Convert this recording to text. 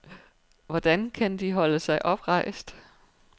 Hvordan kan de holde sig oprejst?